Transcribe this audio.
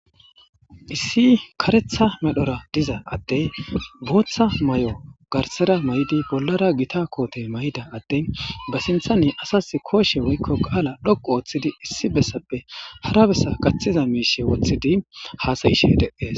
issi karetha medhora diza adtey booththa may7o garsera may7di bollara gita koote may7ida attin ba sintha ne asas kooshe woykko qaala dhoqu ooththidi issi bessappe hara bessa gaththiza miishe woththidi haasayishe deees